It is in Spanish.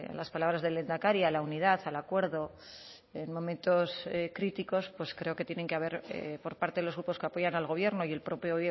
las palabras del lehendakari a la unidad al acuerdo en momentos críticos pues creo que tienen que haber por parte de los grupos que apoyan al gobierno y el propio